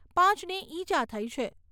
પાંચને ઇજા થઈ છે.